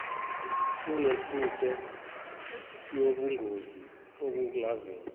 kunengcuphe yobungozi obungavela